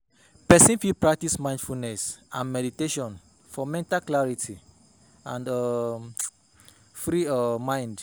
Person fit practice mindfulness and meditation for mental clarity and um free um mind